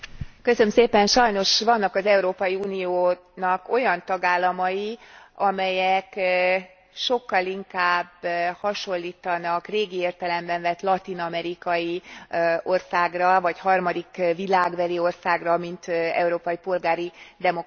Sajnos vannak az Európai Uniónak olyan tagállamai, amelyek sokkal inkább hasonlítanak régi értelemben vett latin amerikai országra, vagy harmadik világbeli országra, mint európai polgári demokráciára.